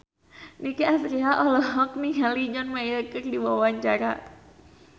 Nicky Astria olohok ningali John Mayer keur diwawancara